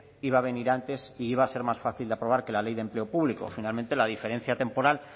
iba a venir antes e iba a ser más fácil de aprobar que la ley de empleo público finalmente la diferencia temporal